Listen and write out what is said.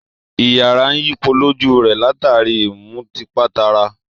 Iyàrá ń yípo lójú rẹ̀, látàrí i ìmùtípatara